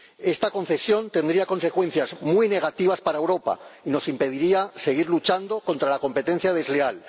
Esta concesión tendría consecuencias muy negativas para Europa y nos impediría seguir luchando contra la competencia desleal.